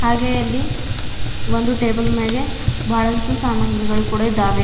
ಹಾಗೆ ಅಲ್ಲಿ ಒಂದು ಟೇಬಲ್ ಮ್ಯಾಗೆ ಬಹಳಷ್ಟು ಸಾಮಗ್ರಿಗಳು ಕೂಡ ಇದ್ದಾವೆ.